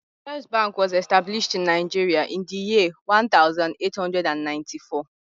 First bank was established in Nigeria in the year one thousand eight hundred and ninety four